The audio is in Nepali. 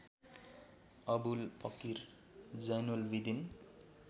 अवुल पकिर जैनुलबिदिन